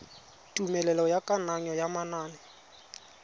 tumelelo ya kananyo ya manane